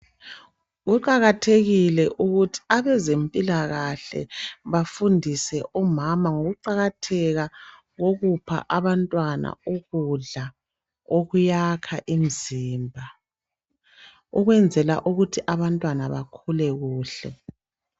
Kuqakathekile ukuthi abezempilakahle bafundise omama ngokuqakatheka kokupha abantwana ukudla okuyakha imzimba ukwenzela ukuthi abantwana bakhule kuhle.